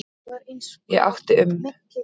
Ég átti um